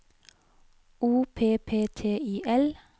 O P P T I L